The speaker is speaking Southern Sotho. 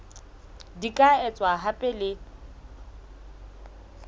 di ka etswa hape le